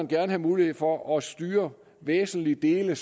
vil have mulighed for at styre væsentlige dele